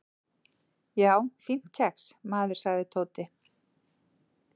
"""Já, fínt kex, maður sagði Tóti."""